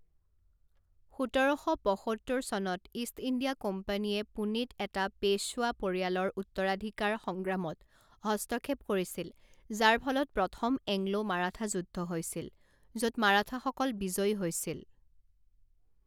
সোতৰ শ পঁসত্তৰ চনত ইষ্ট ইণ্ডিয়া কোম্পানীয়ে পুনেত এটা পেশ্বৱা পৰিয়ালৰ উত্তৰাধিকাৰ সংগ্ৰামত হস্তক্ষেপ কৰিছিল যাৰ ফলত প্ৰথম এংলো মাৰাঠা যুদ্ধ হৈছিল য'ত মাৰাঠাসকল বিজয়ী হৈছিল।